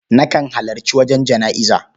Nakan halarci wajen jana'iza.